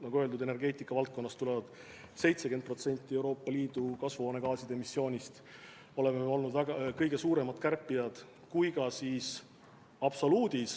Nagu öeldud, energeetika valdkonnast tuleb 70% Euroopa Liidu kasvuhoonegaaside emissioonist ja seal me oleme olnud kõige suuremad kärpijad.